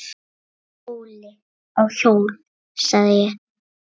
Óli á hjól, sagði ég.